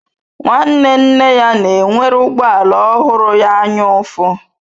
Nwanne nne ya na-enwere ụgbọ ala ọhụrụ ya anyaụfụ.